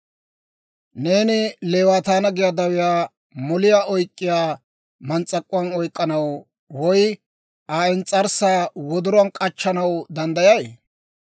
«Neeni Leewaataanna giyaa dawiyaa moliyaa oyk'k'iyaa mans's'ak'uwaan oyk'k'anaw, woy Aa ins's'arssaa wodoruwaan k'achchanaw danddayay?